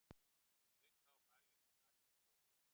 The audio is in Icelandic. Auka á faglegt starf í skólum